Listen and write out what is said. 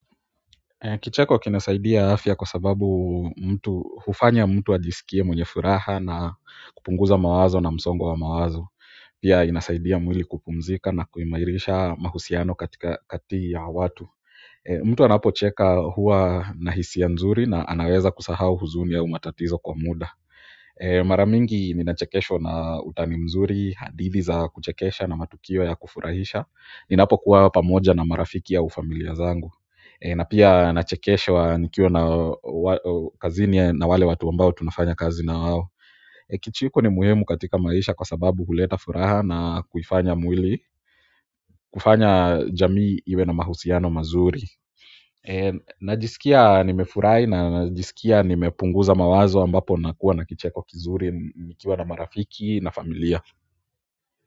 Kicheko kinasaidia afya kwa sababu hufanya mtu ajisikie mwenye furaha na kupunguza msongo wa mawazo pia inasaidia mwili kupumzika na kuimairisha mahusiano kati ya watu. Mtu anapocheka huwa na hisia nzuri na anaweza kusahau huzuni au matatizo kwa muda. Mara mingi ninachekeshwa na utani mzuri na hadithi za kuchekesha na matukio za kufurahisha ninapokuwa pamoja na marafiki au familia zangu. Na pia nachekeshwa nikiwa kazini na wale watu ambao tunafanya kazi na wao. Kicheko ni muhimu katika maisha kwa sababu huleta furaha na kufanya mwili, kufanya jamii iwe na mahusiano mazuri najisikia nimefurahi na najisikia nimepunguza mawazo ambapo nakuwa na kicheko kizuri nikiwa na marafiki na familia.